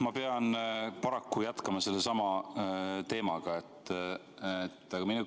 Ma pean paraku jätkama sellesama teemaga.